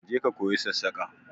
Je ka koyi sassaƙa!